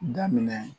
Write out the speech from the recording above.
Daminɛ